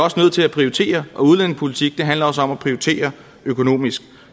prioritere og udlændingepolitik handler også om at prioritere økonomisk